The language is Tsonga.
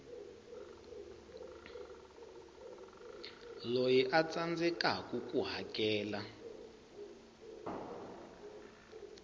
loyi a tsandzekaku ku hakela